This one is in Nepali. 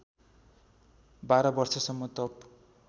१२ वर्षसम्म तप